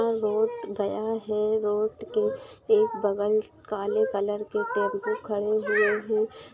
वह रोड गया है रोड के एक बगल काले कलर के टेम्पु खड़े हुए है।